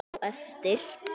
Á eftir.